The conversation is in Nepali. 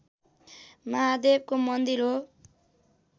महादेवको मन्दिर हो